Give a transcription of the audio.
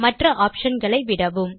மற்ற ஆப்ஷன் களை விடவும்